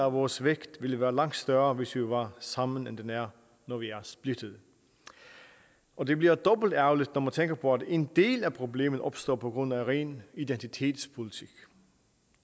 af vores vægt ville være langt større hvis vi var sammen end den er når vi er splittet og det bliver dobbelt ærgerligt når man tænker på at en del af problemet opstår på grund af ren identitetspolitik